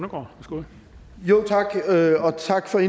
med tak for